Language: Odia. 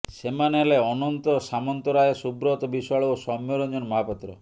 ସେମାନେ ହେଲେ ଅନନ୍ତ ସାମନ୍ତରାୟ ସୁବ୍ରତ ବିଶ୍ବାଳ ଓ ସୌମ୍ୟରଞ୍ଜନ ମହାପାତ୍ର